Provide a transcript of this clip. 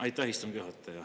Aitäh, istungi juhataja!